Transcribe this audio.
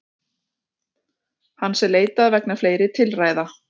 Hans er leitað vegna fleiri tilræða